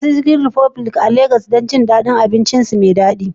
Ziyarci Chicken republic a Legas a yau don jin daɗin abincinsu mai daɗi